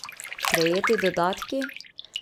Prejeti dodatki?